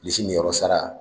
Bilisi niyɔrɔ sara